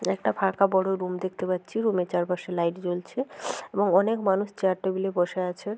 একটা ফাঁকা বড় রুম দেখতে পাচ্ছি। রুম -এর চারপাশে লাইট জ্বলছে এবং অনেক মানুষ চেয়ার টেবিলে বসে আছে।